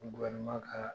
ka